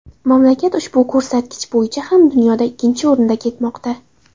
Mamlakat ushbu ko‘rsatkich bo‘yicha ham dunyoda ikkinchi o‘rinda ketmoqda.